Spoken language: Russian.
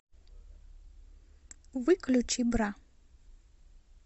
выключи бра